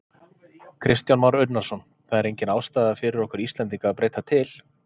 Kristján Már Unnarsson: Það er engin ástæða fyrir okkur Íslendinga að breyta til?